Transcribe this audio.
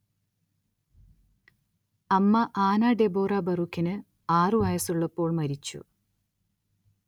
അമ്മ Anna Deborah, ബറൂക്കിന് ആറുവയസ്സുള്ളപ്പോൾ മരിച്ചു.